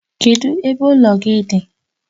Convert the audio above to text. Kedụ ebe ụlọ gị dị?